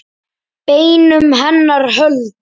Beinum hennar hold.